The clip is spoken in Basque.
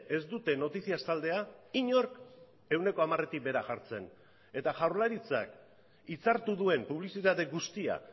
ez dute noticias taldea inork ehuneko hamaretik behera jartzen eta jaurlaritzak hitzartu duen publizitate guztia